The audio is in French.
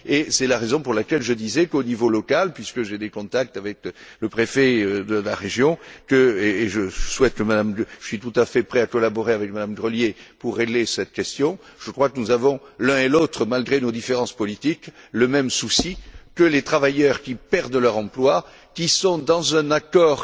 C'est la raison pour laquelle je disais qu'au niveau local puisque j'ai des contacts avec le préfet de la région, et je suis tout à fait prêt à collaborer avec Mme Grelier pour régler cette question je crois que nous avons l'un et l'autre, malgré nos différences politiques, le même souci que les travailleurs qui perdent leur emploi, qui sont confrontés à un accord